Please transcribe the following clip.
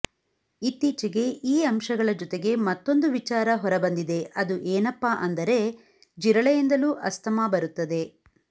ಇತ್ತೀಚೆಗೆ ಈ ಅಂಶಗಳ ಜೊತೆಗೆ ಮತ್ತೊಂದು ವಿಚಾರ ಹೊರಬಂದಿದೆ ಅದು ಏನಪ್ಪಾ ಅಂದರೆ ಜಿರಳೆಯಿಂದಲೂ ಅಸ್ತಮಾ ಬರುತ್ತದೆ